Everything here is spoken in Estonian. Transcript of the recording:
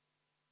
Aitäh!